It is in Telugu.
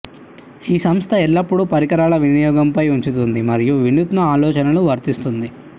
ఈ సంస్థ ఎల్లప్పుడూ పరికరాల వినియోగం పై ఉంచుతుంది మరియు వినూత్న ఆలోచనలు వర్తిస్తుంది